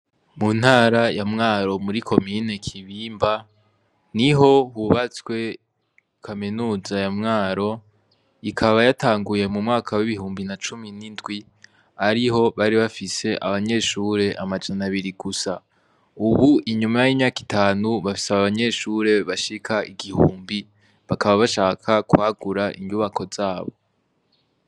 Mu ntara ya mwaro muri komine kibimba ni ho hubatswe kaminuza ya mwaro ikaba yatanguye mu mwaka w'ibihumbi na cumi n'indwi ariho bari bafise abanyeshure amajana abiri gusa, ubu inyuma y'inyaka itanu bafise aba abanyeshure bashika igihumbi bakaba bashaka kwagura inyubako zabo.